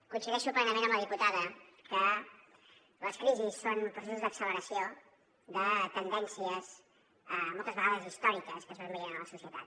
coincideixo plenament amb la diputada que les crisis són processos d’acceleració de tendències moltes vegades històriques que es van veient a la societat